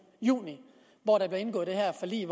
juni hvor der blev indgået det her forlig